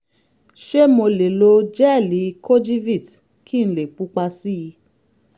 ṣé mo lè lo jẹ́ẹ̀lì kojivit kí n lè pupa sí i?